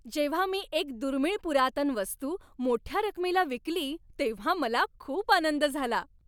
जेव्हा मी एक दुर्मिळ पुरातन वस्तू मोठ्या रकमेला विकली तेव्हा मला खूप आनंद झाला.